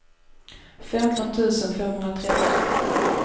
femton tusen femhundratrettio